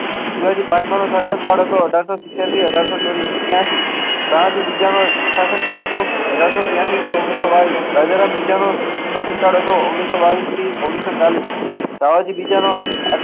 શિવાજી પાંચમાં ત્યાં થી બીજા નો શાસન કાઢો તો